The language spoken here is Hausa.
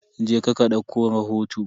Je ka ka dauko rahoto.